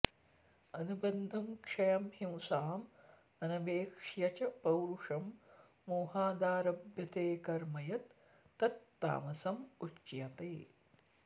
अनुबन्धं क्षयं हिंसाम् अनवेक्ष्य च पौरुषम् मोहादारभ्यते कर्म यत् तत् तामसम् उच्यते